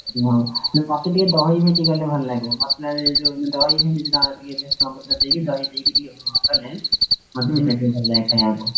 ହଁ ମତେ ଟିକେ ଦହି ଭେଣ୍ଡି କଲେ ଭଲ ଲାଗେ, ମସଲା ଯୋଉ ଦହି ଭେଣ୍ଡି ଟା ଭ୍ରୂସଙ୍ଗ ପତ୍ର ଦେଇ ଦହି ଦେଇ କଲେ, ମତେ ସେଇଟା ଟିକେ ଭଲ ଲାଗେ ଖାଇବାକୁ।